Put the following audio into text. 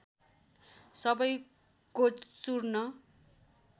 सबैको चूर्ण